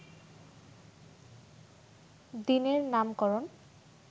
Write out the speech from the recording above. দিনের নামকরণ